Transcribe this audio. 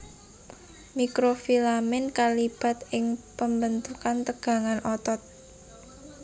Mikrofilamen kalibat ing pambentukan tegangan otot